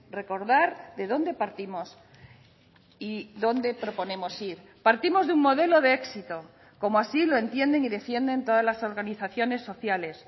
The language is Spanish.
recordar de dónde partimos y dónde proponemos ir partimos de un modelo de éxito como así lo entienden y defienden todas las organizaciones sociales